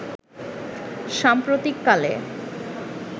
সাম্প্রতিক কালে